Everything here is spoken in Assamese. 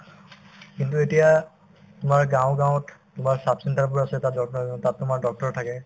কিন্তু এতিয়া তোমাৰ গাওঁ গাঁৱত তোমাৰ sub center বোৰ আছে তাত তাত তোমাৰ doctor থাকে